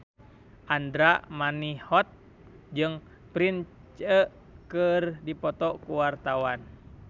Andra Manihot jeung Prince keur dipoto ku wartawan